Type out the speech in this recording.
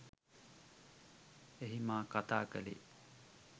එහි මා කතා කලේ